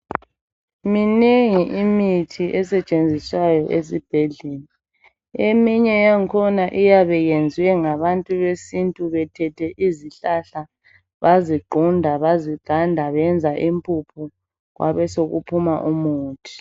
minengi imithi esetshenziswayo esibhedlela eminye yangkhona iyabe iyenziwe ngabantu besintu bethethe izihlahla baziqunda baziganda benza imphuphu kwasekuphuma umuthi